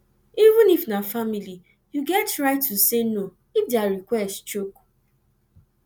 even if na family you get right to say no if their request choke